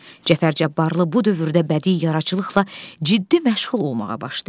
Cəfər Cabbarlı bu dövrdə bədii yaradıcılıqla ciddi məşğul olmağa başlayır.